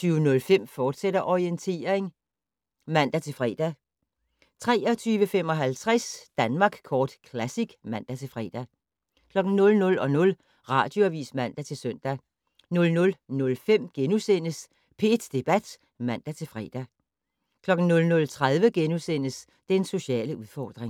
Orientering, fortsat (man-fre) 23:55: Danmark Kort Classic (man-fre) 00:00: Radioavis (man-søn) 00:05: P1 Debat *(man-fre) 00:30: Den sociale udfordring *